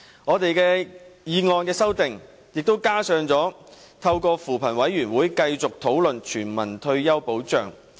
我的修正案亦提出要透過扶貧委員會，繼續討論全民退休保障。